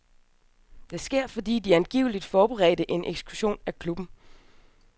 Det sker, fordi de angiveligt forberedte en eksklusion af klubben.